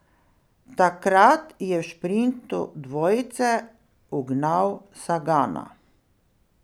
Takrat je v šprintu dvojice ugnal Sagana.